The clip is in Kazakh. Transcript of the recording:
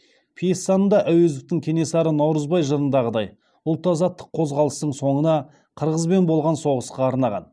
пьесаны да әуезовтің кенесары наурызбай жырындағыдай ұлт азаттық қозғалыстың соңына қырғызбен болған соғысқа арнаған